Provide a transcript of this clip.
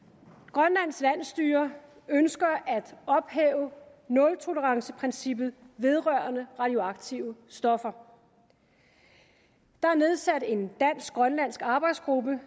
grønlands landsstyre ønsker at ophæve nultoleranceprincippet vedrørende radioaktive stoffer der er nedsat en dansk grønlandsk arbejdsgruppe